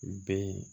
Bɛn